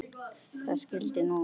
Það skyldi nú ekki vera?